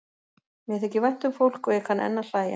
Mér þykir vænt um fólk og ég kann enn að hlæja.